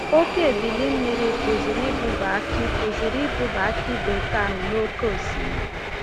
Oke ebili mmiri pụziri ibuba akị pụziri ibuba akị bekee ahụ n’oke osimiri.